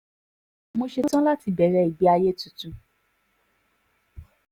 mo ṣetán láti bẹ̀rẹ̀ ìgbé ayé tuntun